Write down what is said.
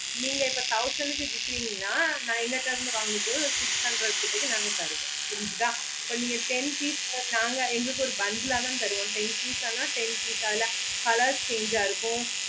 நீங்க thousand கு விக்குரிங்கண்ணா நாங்க எங்க கிட்டே இருந்து வாங்க மோடு ஒரு six hundred கிட்ட நாங்க தருவோம் புரிஞ்சிதா இப்போ நீங்க ten piece but நாங்க இங்க எங்களுக்கு ஒரு bundle ஆஹ் தான் தருவோம் ten piece அஹ்லா ten piece அஹ்லா colors change ஆஹ் இருக்கும்